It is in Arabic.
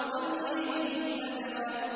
وَاللَّيْلِ إِذْ أَدْبَرَ